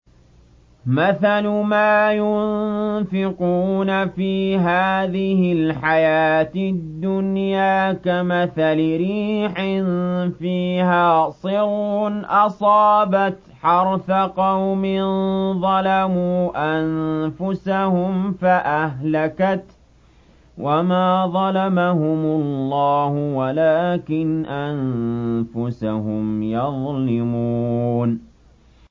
مَثَلُ مَا يُنفِقُونَ فِي هَٰذِهِ الْحَيَاةِ الدُّنْيَا كَمَثَلِ رِيحٍ فِيهَا صِرٌّ أَصَابَتْ حَرْثَ قَوْمٍ ظَلَمُوا أَنفُسَهُمْ فَأَهْلَكَتْهُ ۚ وَمَا ظَلَمَهُمُ اللَّهُ وَلَٰكِنْ أَنفُسَهُمْ يَظْلِمُونَ